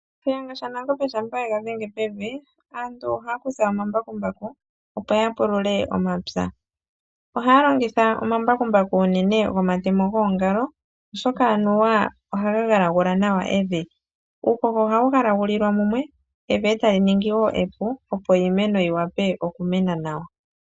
Shiyenga sha nangombe shampa ye gadhenge pevi, aantu ohayakutha omambakumbaku opo ya pulule omapya. ohaya longitha unene omambakumbaku gomatemo goongalo oshoka anuwa oha ga galagula nawa evi. Uuhoho ohawu galagulilwa mumwe nevi ohali ningi epu opo iimeno ta yi mene nawa.